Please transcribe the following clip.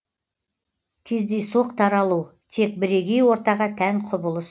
кездейсоқ таралу тек бірегей ортаға тән құбылыс